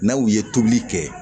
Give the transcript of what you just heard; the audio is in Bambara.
N'aw ye tobili kɛ